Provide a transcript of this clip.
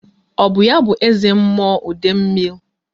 Ọ bụ ya bụ eze mmụọ Idemil?